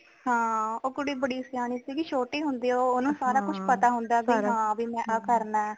ਹਾਂ ਓ ਕੁੜੀ ਬੜੀ ਸਿਆਣੀ ਸੀਗੀ ਛੋਟੀ ਹੁੰਦਿਆਂ ਓ ਨਾ ਸਾਰਾ ਕੁਛ ਪਤਾ ਹੁੰਦਾ ਭੀ ਹਾਂ ਮੈ ਆ ਕਰਨਾ